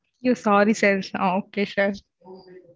ஐயோ! sorry sir okay sir